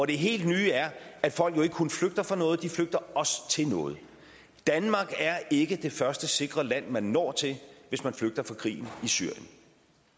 det helt nye er at folk jo ikke kun flygter fra noget de flygter også til noget danmark er ikke det første sikre land man når til hvis man flygter fra krigen i syrien